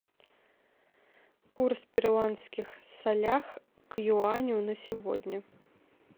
курс перуанских солях к юаню на сегодня